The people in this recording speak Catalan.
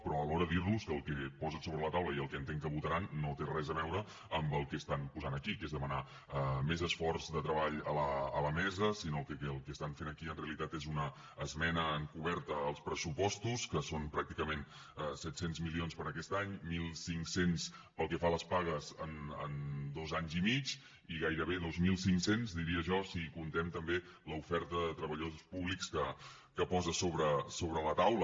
però alhora dir los que el que posen sobre la taula i el que entenc que votaran no té res a veure amb el que estan posant aquí que és demanar més esforç de treball a la mesa sinó que el que estan fent aquí en realitat és una esmena encoberta als pressupostos que són pràcticament set cents milions per a aquest any mil cinc cents pel que fa a les pagues en dos anys i mig i gairebé dos mil cinc cents diria jo si comptem també l’oferta de treballadors públics que posa sobre la taula